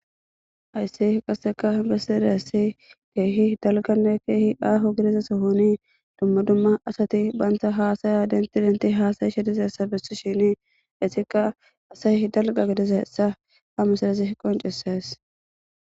ayssi qasseka besadassi keehi dalganne keehi aaho gidiza sohoni dumma dumma asati baanta haasaya dentidenti haasayi shediza essa bessi shini esikka asay dalga gidiza essa ha mesadesi qonceses